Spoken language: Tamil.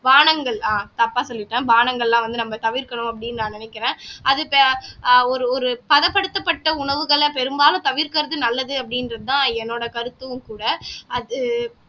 பானங்கள் ஆஹ் தப்பா சொல்லிட்டேன் பானங்கள்லாம் வந்து நம்ம தவிர்க்கணும் அப்படீன்னு நான் நினைக்கிறேன் அதுக்கு ஆஹ் ஒரு ஒரு தடப்படுத்தப்பட்ட உணவுகளை பெரும்பாலும் தவிர்க்கிறது நல்லது அப்படின்ற தான் என்னோட கருத்தும் கூட அது